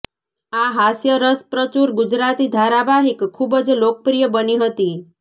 આ હાસ્યરસપ્રચુર ગુજરાતી ધારાવાહિક ખુબ જ લોકપ્રિય બની હતી